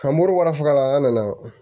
An bɔro wala an nana